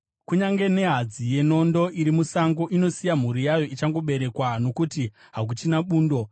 Kunyange nehadzi yenondo iri musango inosiya mhuru yayo ichangoberekwa nokuti hakuchina bundo.